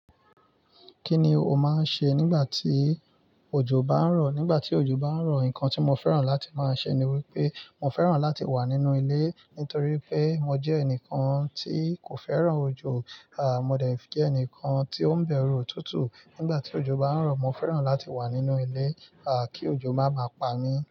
Kí ni o máa ń ṣe nígbà tí òjò bá ń rọ̀? Nígbà tí òjò bá ń rọ̀, nǹkan tí mo fẹ́ràn láti máa ṣe ni wípé mo fẹ́ràn láti wà nínú ilé nítorí pé mo jẹ́ ẹnìkan tí kò fẹ́ràn òjò. Mo dẹ̀ jẹ́ ẹnìkan tí ó ń bẹ̀rù òtútù. Nígbà tí òjò bá ń rọ̀, mo fẹ́ràn láti wà nínú ilé, à kí òjò má bá pa mí.